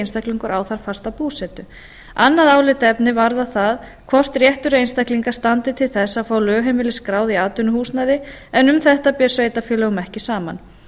einstaklingur á þar fasta búsetu annað álitaefni varðar það hvort réttur einstaklinga standi til þess að fá lögheimili skráð í atvinnuhúsnæði en um þetta ber sveitarfélögum ekki saman